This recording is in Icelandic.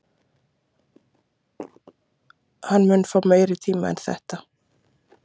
Hann mun fá meiri tíma en þetta?